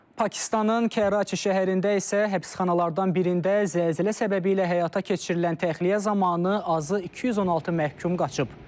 Pakistanın Kəraçi şəhərində isə həbsxanalardan birində zəlzələ səbəbi ilə həyata keçirilən təxliyə zamanı azı 216 məhkum qaçıb.